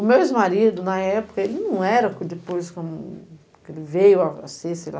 O meu ex-marido, na época, ele não era depois como que ele veio a ser, sei lá,